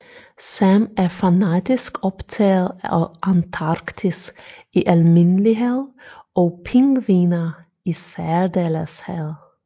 Sam er fanatisk optaget af Antarktis i almindelighed og pingviner i særdeleshed